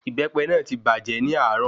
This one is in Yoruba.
Ìbépe náà ti bàjē ni àárò